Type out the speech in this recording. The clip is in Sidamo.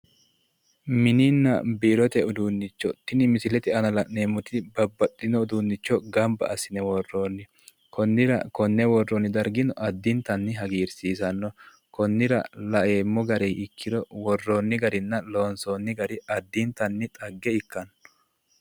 Mininna biirote uduunnicho, tini misilete aana la'neemmoti babbaxxino uduunnicho gamba assine worroonni. Konnira konne worroonni dargino addintanni hagiirsiisanno. Konnira laeemmo garii ikkiro worroonni garinna loonsoonni gari addintanni xagge ikkanno.